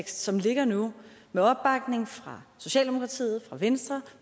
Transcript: som ligger nu med opbakning fra socialdemokratiet fra venstre